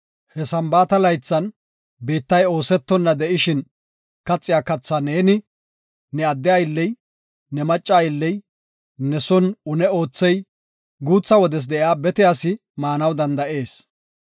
He Sambaata laythan biittay oosetonna de7ishin kaxiya kathaa neeni, ne adde aylley, ne macca aylley, ne son une oothey, guutha wodes de7iya bete asi maanaw danda7ees.